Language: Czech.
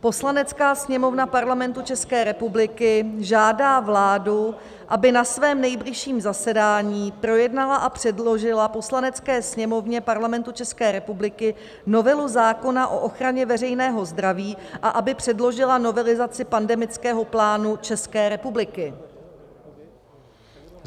"Poslanecká sněmovna Parlamentu České republiky žádá vládu, aby na svém nejbližším zasedání projednala a předložila Poslanecké sněmovně Parlamentu České republiky novelu zákona o ochraně veřejného zdraví a aby předložila novelizaci pandemického plánu České republiky."